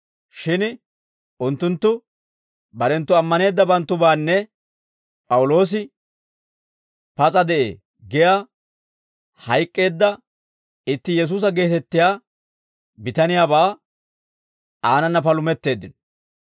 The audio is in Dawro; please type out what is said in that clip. Shin unttunttu barenttu ammaneeddabanttubaanne P'awuloosi, ‹Pas'a de'ee› giyaa hayk'k'eedda itti Yesuusa geetettiyaa bitaniyaabaa aanana palumetteeddino.